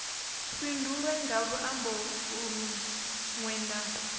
fhindulwe nga luambo lunwe na